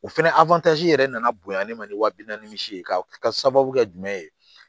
O fɛnɛ yɛrɛ nana bonya ne ma ni wa bi naani misi ye ka sababu kɛ jumɛn ye